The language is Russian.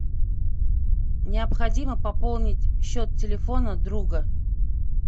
необходимо пополнить счет телефона друга